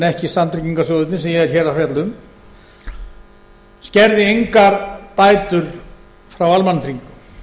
ekki samtryggingarsjóðirnir sem ég er hér að fjalla um skerði engar bætur frá almannatryggingum